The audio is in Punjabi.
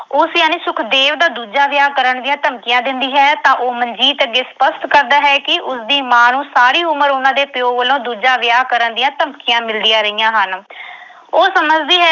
ਉਸ ਯਾਨੀ ਸੁਖਦੇਵ ਦਾ ਦੂਜਾ ਵਿਆਹ ਕਰਨ ਦੀਆਂ ਧਮਕੀਆਂ ਦਿੰਦੀ ਹੈ ਤਾਂ ਉਹ ਮਨਜੀਤ ਅੱਗੇ ਸਪੱਸ਼ਟ ਕਰਦਾ ਹੈ ਕਿ ਉਸਦੀ ਮਾਂ ਨੂੰ ਸਾਰੀ ਉਮਰ ਉਨ੍ਹਾਂ ਦੇ ਪਿਓ ਵੱਲੋਂ ਦੂਜਾ ਵਿਆਹ ਕਰਨ ਦੀਆਂ ਧਮਕੀਆਂ ਮਿਲਦੀਆਂ ਰਹੀਆਂ ਹਨ। ਉਹ ਸਮਝਦੀ ਹੈ